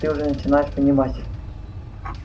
ты уже начинаешь понимать